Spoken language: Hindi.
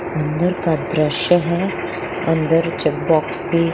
अंदर का दृश्य है अंदर की --